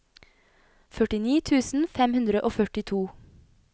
førtini tusen fem hundre og førtito